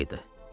Yay idi.